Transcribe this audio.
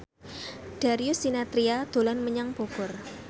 Darius Sinathrya dolan menyang Bogor